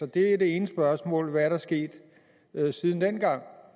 det er det ene spørgsmål hvad er der sket siden dengang